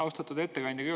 Austatud ettekandja!